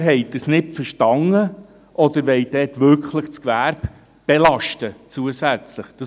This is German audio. Entweder haben Sie es nicht verstanden, oder sie wollen dort wirklich das Gewerbe zusätzlich belasten.